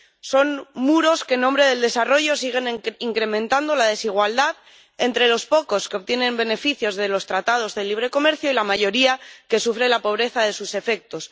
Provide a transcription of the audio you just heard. Son muros que, en nombre del desarrollo, siguen incrementando la desigualdad entre los pocos que obtienen beneficios de los Tratados de Libre Comercio y la mayoría que sufre la pobreza de sus efectos.